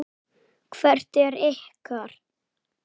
Hvert er ykkar?